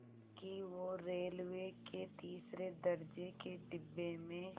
कि वो रेलवे के तीसरे दर्ज़े के डिब्बे में